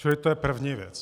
Čili to je první věc.